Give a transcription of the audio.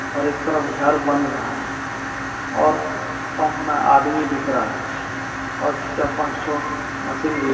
और इक तरफ घर बन रहा है और पम्प मे आदमी दिख रहा है और चार पांच ठो मशीन भी--